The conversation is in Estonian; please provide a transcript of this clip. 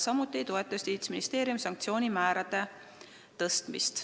Samuti ei toeta Justiitsministeerium sanktsioonide karmistamist.